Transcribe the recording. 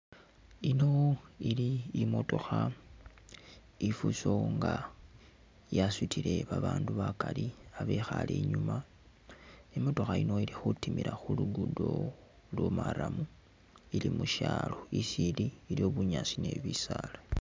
Yino ili i'motokha i'fuso nga yasutile babaandu bakali babekhaale inyuuma, i'motokha yino ili khutimila khu luguudo lwa marram ili musyalo, isi ili iliwo bunyaasi ni bisaala.